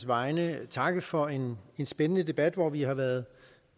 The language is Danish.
vegne takke for en spændende debat hvor vi har været